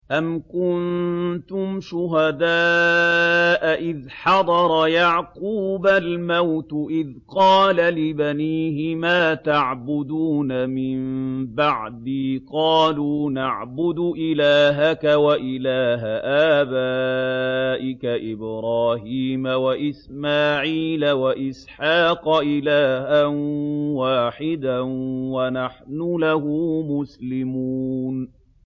أَمْ كُنتُمْ شُهَدَاءَ إِذْ حَضَرَ يَعْقُوبَ الْمَوْتُ إِذْ قَالَ لِبَنِيهِ مَا تَعْبُدُونَ مِن بَعْدِي قَالُوا نَعْبُدُ إِلَٰهَكَ وَإِلَٰهَ آبَائِكَ إِبْرَاهِيمَ وَإِسْمَاعِيلَ وَإِسْحَاقَ إِلَٰهًا وَاحِدًا وَنَحْنُ لَهُ مُسْلِمُونَ